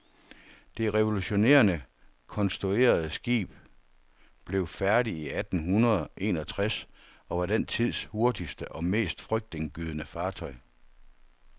Det revolutionerende konstruerede skib blev færdigt i atten hundrede enogtres, og var den tids hurtigste og mest frygtindgydende fartøj.